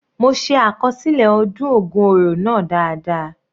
Mo se àkọsílẹ ọdún ògun oro náà dáadáa.